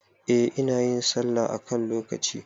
Eh, inayin sallah a kan lokaci